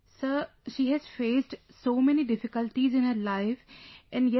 Sir, she has faced so many difficulties in her life and yet